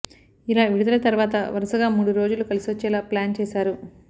ఇలా విడుదల తర్వాతా వరుసగా మూడు రోజులు కలిసొచ్చేలా ప్లాన్ చేశారు